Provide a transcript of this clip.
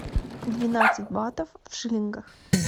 двенадцать батов в шиллингах